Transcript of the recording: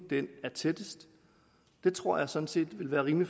er tættest det tror jeg sådan set er rimelig